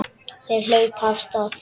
Þeir hlupu af stað.